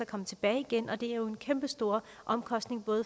komme tilbage igen og det er jo en kæmpe stor omkostning